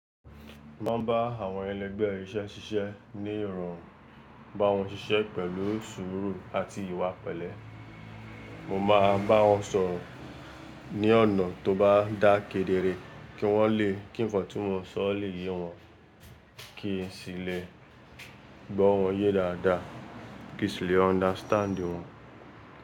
Mo máa ń bá àwọn ẹlẹgbẹ́ iṣẹ́ ṣiṣẹ́ ní ìrọ̀rùn, bá wọn ṣiṣẹ́ pẹ̀lú sùúrù àti ìwà pélé. Mo máa bá wọn sọ̀rọ̀ ní ọ̀nà tó bá dá kedere kí wọ́n lé kí ńfọ̀ tí mo ń sọ lè yé wọ́n, kí n sì lè gbọ́ wọ́n yé dáadáa, kí n sì lè understand wọn.